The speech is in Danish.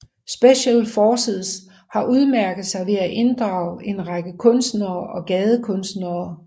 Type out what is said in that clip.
Special Forces har udmærket sig ved at inddrage en række kunstnere og gadekunstnere